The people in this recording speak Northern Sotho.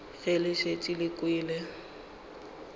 ge le šetše le kwele